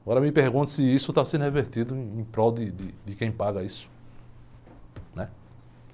Agora me pergunto se isso está sendo revertido em, em prol de, de quem paga isso.